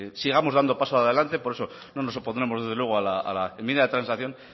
sigamos dando pasos adelante por eso no nos opondremos desde luego a la enmienda de transacción